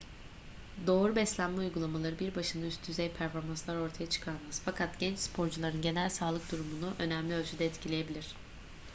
doğru beslenme uygulamaları bir başına üst düzey performanslar ortaya çıkarmaz fakat genç sporcuların genel sağlık durumunu önemli ölçüde etkileyebilir